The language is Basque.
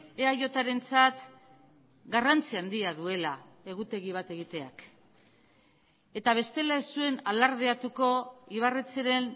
eajrentzat garrantzia handia duela egutegi bat egiteak eta bestela ez zuen alardeatuko ibarretxeren